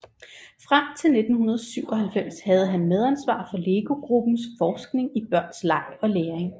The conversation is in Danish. Frem til 1997 havde han medansvar for LEGO Gruppens forskning i børns leg og læring